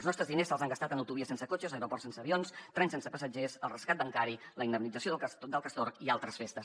els nostres diners se’ls han gastat en autovies sense cotxes aeroports sense avions trens sense passatgers el rescat bancari la indemnització del castor i altres festes